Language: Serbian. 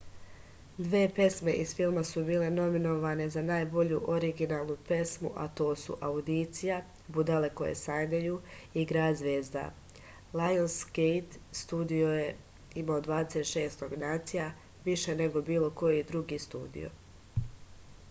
две песме из филма су биле номиноване за најбољу оригиналну песму а то су аудиција будале које сањају и град звезда . лајонсгејт студио је имао 26 номинација — више него било који други студио